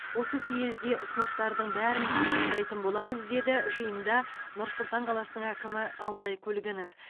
осы съезде ұсыныстардың бәрін тыңдайтын боламыз деді жиында нұр сұлтан қаласының әкімі алтай көлгінов